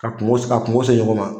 Ka kungo ka kungo se ɲɔgɔn ma.